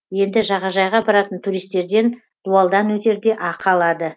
енді жағажайға баратын туристерден дуалдан өтерде ақы алады